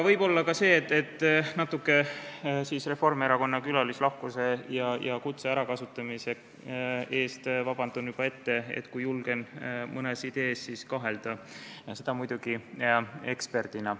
Võib-olla ka seda, kasutades ära natuke Reformierakonna külalislahkust ja kutset, et palun juba ette vabandust, kui julgen mõnes idees kahelda, seda muidugi eksperdina.